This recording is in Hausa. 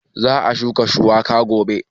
Za a shuka shuiwaka gobe.